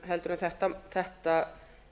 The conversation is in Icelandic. heldur en þetta